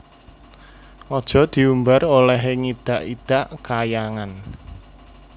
Aja diumbar olehe ngidak idak Kahyangan